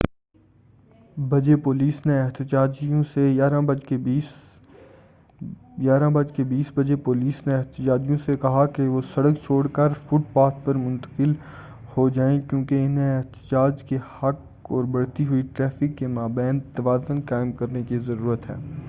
11:20 بجے پولیس نے احتجاجیوں سے کہا کہ وہ سڑک چھوڑ کر فٹ پاتھ پر منتقل ہو جائیں کیوں کہ انہیں احتجاج کے حق اور بڑھتی ہوئی ٹریفک کے ما بین توازن قائم کرنے کی ضرورت ہے